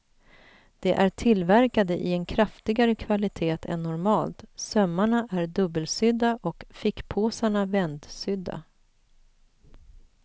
De är tillverkade i en kraftigare kvalitet än normalt, sömmarna är dubbelsydda och fickpåsarna vändsydda.